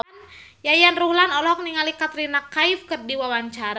Yayan Ruhlan olohok ningali Katrina Kaif keur diwawancara